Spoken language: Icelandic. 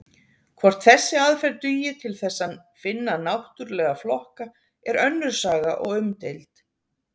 Hvort þessi aðferð dugi til þess að finna náttúrlega flokka er önnur saga og umdeild.